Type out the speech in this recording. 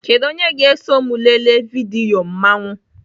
Kedu onye ga-eso m lelee vidiyo mmanwụ?